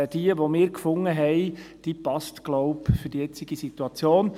Die von uns gefundene Lösung passt, glaube ich, in die jetzige Situation.